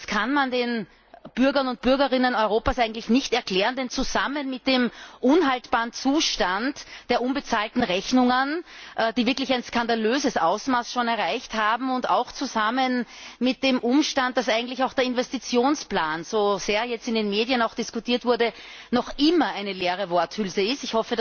Das kann man den Bürgern und Bürgerinnen Europas eigentlich nicht erklären zusammen mit dem unhaltbaren Zustand der unbezahlten Rechnungen, die wirklich schon ein skandalöses Ausmaß erreicht haben, und zusammen mit dem Umstand, dass eigentlich auch der Investitionsplan, so sehr er jetzt in den Medien diskutiert wurde, noch immer eine leere Worthülse ist.